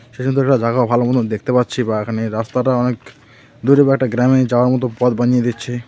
সেই সুন্দর একটা জাগাও ভালো মতোন দেখতে পাচ্ছি বা এখানের রাস্তাটা অনেক দূরে বা একটা গ্রামে যাওয়ার মতো পথ বানিয়ে দিচ্ছে .